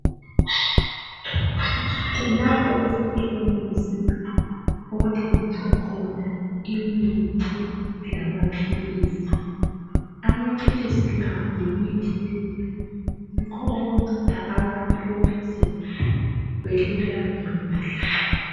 Lapho kusekhemisi okuthengiswa khona imithi lamaphilisi. Amaphilisi la lemithi leyi yikho okunceda abantu ukuze belulame kuhle.